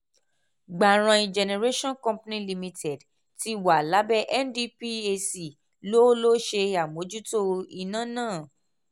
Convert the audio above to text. gbarain generation company limited tí wà lábẹ ndphc ló ló ṣe àmójútó iná ná.